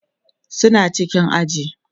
suna cikin aji